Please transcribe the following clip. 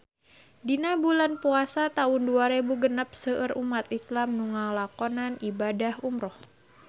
Dina bulan Puasa taun dua rebu genep seueur umat islam nu ngalakonan ibadah umrah